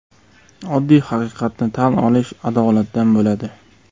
Oddiy haqiqatni tan olish adolatdan bo‘ladi.